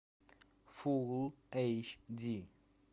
фул эйч ди